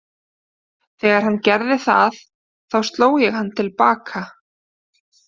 Þegar hann gerði það þá sló ég hann til baka.